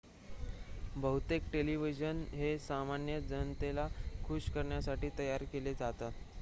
बहुतेक टेलिव्हिजन हे सामान्य जनतेला खुश करण्यासाठी तयार केले जातात